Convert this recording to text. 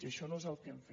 i això no és el que hem fet